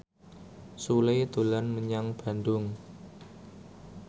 Sule dolan menyang Bandung